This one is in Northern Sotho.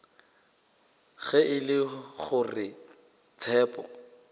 ge e le gore tshepo